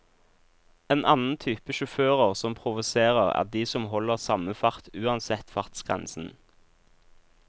En annen type sjåfører som provoserer, er de som holder samme fart uansett fartsgrensen.